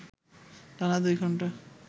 টানা ২ ঘণ্টা